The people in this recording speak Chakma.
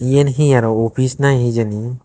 eyen he arow office na he jeni.